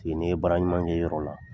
ni ye baara ɲuman kɛ yɔrɔ la